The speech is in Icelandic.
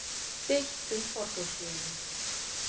Deilt um forgangsröðun